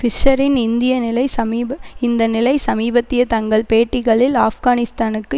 பிஷ்ஷரின் இந்திய நிலை இந்த நிலை சமீபத்திய தங்கள் பேட்டிகளில் ஆப்கானிஸ்தானுக்கு